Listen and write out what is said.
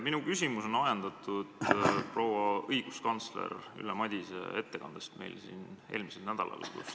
Minu küsimus on ajendatud proua õiguskantsleri Ülle Madise ettekandest siin eelmisel nädalal.